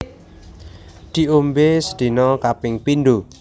Diombé sedina kaping pindho